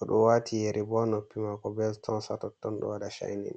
oɗo wati yeri bo ha noppi mako be stones ha totton ɗo waɗa cainin.